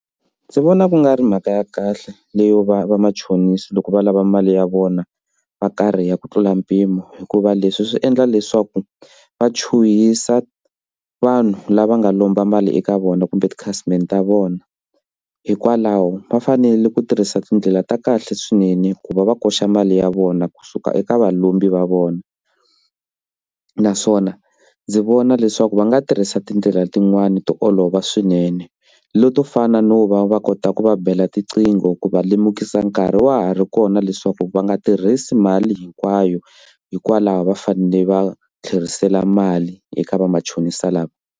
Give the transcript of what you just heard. Ndzi vona ku nga ri mhaka ya kahle leyo va vamachonisi loko va lava mali ya vona va karhi ya ku tlula mpimo hikuva leswi swi endla leswaku va chuhisa vanhu lava nga lomba mali eka vona kumbe tikhasimende ta vona hikwalaho va fanele ku tirhisa tindlela ta kahle swinene ku va va koxa mali ya vona kusuka eka valombi va vona naswona ndzi vona leswaku va nga tirhisa tindlela tin'wani to olova swinene leto fana no va va kota ku va bela tiqingho ku va lemukisa nkarhi wa ha ri kona leswaku va nga tirhisi mali hinkwayo hikwalaho va fanele va tlherisela mali eka vamachonisa lava.